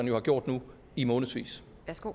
jo har gjort nu i månedsvis